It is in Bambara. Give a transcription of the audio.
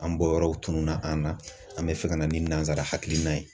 An bɔyɔrɔw tununa an na, an bɛ fɛ ka na ni nanzara hakilina ye.